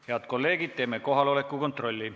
Head kolleegid, teeme kohaloleku kontrolli.